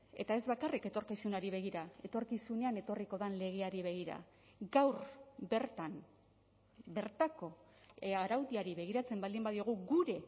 eta ez bakarrik etorkizunari begira etorkizunean etorriko den legeari begira gaur bertan bertako araudiari begiratzen baldin badiogu gure